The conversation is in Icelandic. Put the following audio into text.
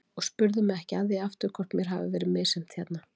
Og spurðu mig ekki að því aftur hvort mér hafi verið misþyrmt hérna.